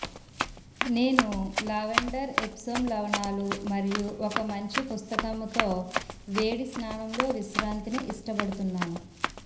నేను lavender Epsom లవణాలు మరియు ఒక మంచి పుస్తకంతో వేడి స్నానంలో విశ్రాంతిని ఇష్టపడుతున్నాను